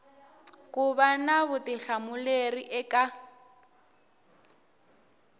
ku va na vutihlamuleri eka